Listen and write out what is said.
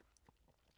DR K